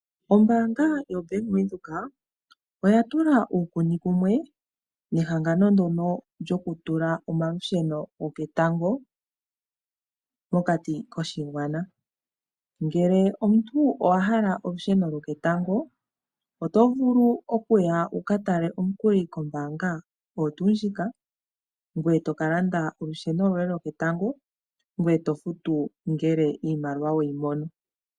Ombaanga yaVenduka oya tula uukuni kumwe nehangano ndono lyokutula omalusheno lwoketango mokati koshigwana . Ngele omuntu owa hala olusheno lwoketango otovulu oku ya wuka tale omukuli kombaanga oyo tuu ndjika ngoye toka tala olusheno lwoye lwoketango ngoye tofutu ngele iimaliwa weyi mono.